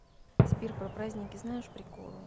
сбер про праздники знаешь приколы